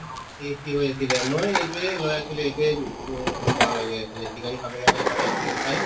tasty হৈ আছিলে ময়ো এইটোয়ে লৈ আছিলো এইটোয়ে উব হৈ গৈ আছিলে chicken খাব লগা হলে তাতে chicken fry